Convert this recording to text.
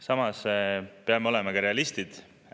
Samas peame olema realistid.